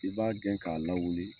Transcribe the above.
I b'a gɛn k'a lawuli